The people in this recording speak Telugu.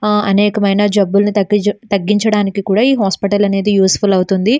ఆ అనేకమైన జబ్బులను తగ్గించ తగ్గించడానికి కూడా ఈ హాస్పిటల్ అనేది యూస్ఫుల్ అవుతుంది.